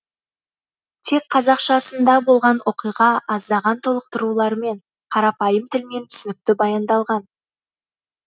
тек қазақшасында болған оқиға аздаған толықтырулармен қарапайым тілмен түсінікті баяндалған